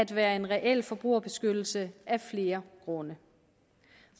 være en reel forbrugerbeskyttelse af flere grunde